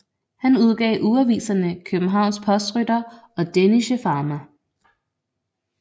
Han udgav ugeaviserne Kjøbenhavns Postrytter og Dänische Fama